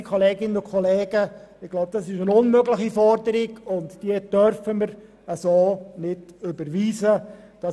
Geschätzte Kolleginnen und Kollegen, ich denke, dies ist eine unmögliche Forderung, die wir so nicht überweisen dürfen.